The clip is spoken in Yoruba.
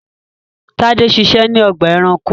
Tade ṣiṣẹ́ ní ọgbà-ẹranko.